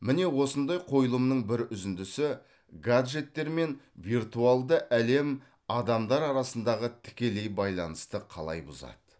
міне осындай қойылымның бір үзіндісі гаджеттер мен виртуалды әлем адамдар арасындағы тікелей байланысты қалай бұзады